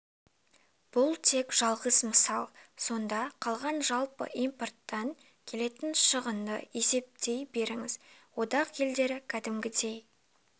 бұл тек жалғыз мысал сонда қалған жалпы импорттан келетін шығынды есептей беріңіз одақ елдері кәдімгідей